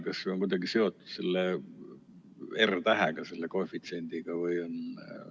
Kas see on kuidagi seotud selle R-tähega, selle koefitsiendiga?